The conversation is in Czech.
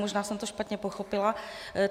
Možná jsem to špatně pochopila.